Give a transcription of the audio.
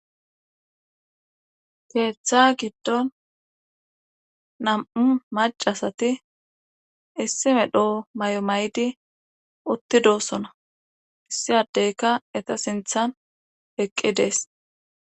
Keeta giddon nam7u macasatiissi medho mayo mayidi uttidoosona issi addeyka eta sinthan eqqides.